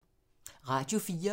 Radio 4